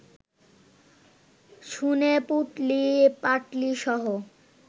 শুনে, পুঁটলি-পাঁটলিসহ